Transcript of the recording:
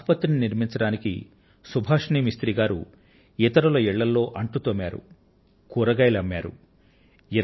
ఒక ఆసుపత్రిని నిర్మించడానికి సుభాషిణి మిస్త్రీ గారు ఇతరుల ఇళ్లల్లో అంట్లు తోమారు కూరగాయలు అమ్మారు